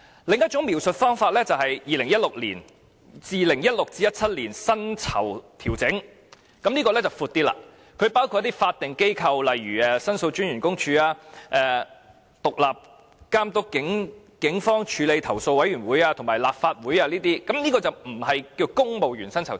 另一種描述方法就是 "2016-2017 年度薪酬調整"，這項原因範圍闊一點，包括一些法定機構，例如申訴專員公署、獨立監察警方處理投訴委員會和立法會行政管理委員會等。